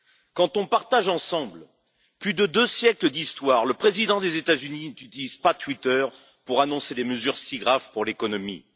Quand on partage ensemble plus de deux siècles d'histoire, le président des États Unis n'utilise pas Twitter pour annoncer des mesures si graves pour l'économie.